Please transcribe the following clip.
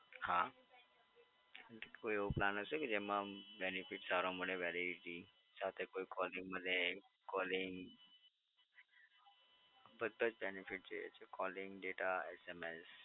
હા, કોઈ એવો plan હશે કે જેમા benefit સારો મડે? validity સાથે કોઈ calling માટે કોલિંગ બધાં જ benefit જોઈએ છે. calling dataSMS